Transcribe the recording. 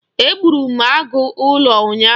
Egburu m agụ ụlọ ụnyaahụ.